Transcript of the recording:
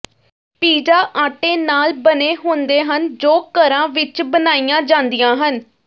pizza ਆਟੇ ਨਾਲ ਬਣੇ ਹੁੰਦੇ ਹਨ ਜੋ ਘਰਾਂ ਵਿਚ ਬਣਾਈਆਂ ਜਾਂਦੀਆਂ ਹਨ